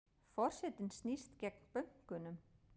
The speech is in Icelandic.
Forsetinn snýst gegn bönkunum